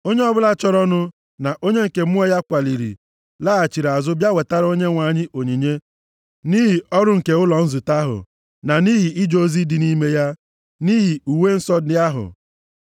Onye ọbụla chọrọnụ na onye nke mmụọ ya kwaliri laghachiri azụ bịa wetara Onyenwe anyị onyinye nʼihi ọrụ nke ụlọ nzute ahụ na nʼihi ije ozi dị nʼime ya na nʼihi uwe nsọ ndị ahụ.